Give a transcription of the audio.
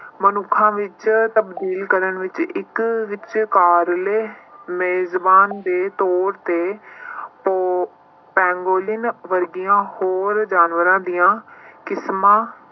ਮਨੁੱਖਾਂ ਵਿੱਚ ਤਬਦੀਲ ਕਰਨ ਵਿੱਚ ਇੱਕ ਵਿਚਕਾਰਲੇ ਮੇਜਮਾਨ ਦੇ ਤੌਰ ਤੇ ਪੋ~ ਪੈਗੋਲੀਅਨ ਵਰਗੀਆਂ ਹੋਰ ਜਾਨਵਰਾਂ ਦੀਆਂ ਕਿਸਮਾਂ